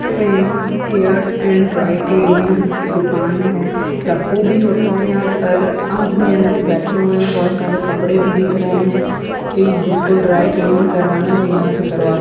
Famous airs and dry cleaning की दुकान है रफू भी होता है। यहाँ पर आदमी अंदर बैठे हुए हैं बोहोत सारे कपड़े भी दिख रहे हैं कोई जिसको ड्राई क्लीनिंग करवाना वो यहाँ से करवा --